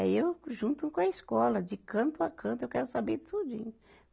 Aí eu junto com a escola, de canto a canto, eu quero saber tudinho.